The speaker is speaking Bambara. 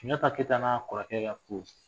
Sunjata Keyita n'a kɔrɔkɛ ka ko